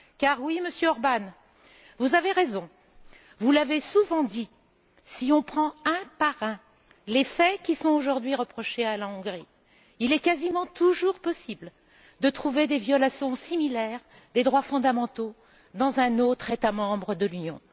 Car oui, Monsieur Orbán, vous avez raison. Vous l'avez souvent dit, si on prend un par un les faits qui sont, aujourd'hui, reprochés à la Hongrie, il est quasiment toujours possible de trouver des violations similaires des droits fondamentaux dans un autre État membre de l'Union.